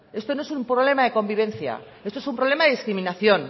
esto no es un problema de convivencia esto es un problema de discriminación